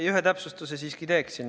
Ma ühe täpsustuse siiski teeksin.